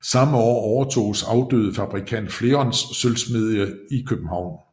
Samme år overtoges afdøde fabrikant Flerons sølvsmedie i København